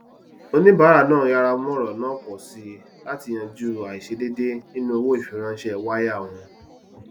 oníbàrà náà yára mú ọrọ náà pọ sí láti yanju àìṣèdèédé nínú owó ìfiránṣé waya wọn